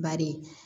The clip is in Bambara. Bari